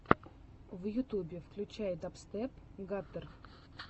в ютубе включай дабстеп гаттер